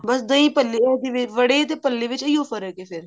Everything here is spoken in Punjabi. ਬਸ ਦਹੀਂ ਭੱਲੇ ਇਹਦੇ ਵੜੇ ਤੇ ਭੱਲੇ ਵਿੱਚ ਇਹੀ ਫਰਕ ਹੈ ਫ਼ੇਰ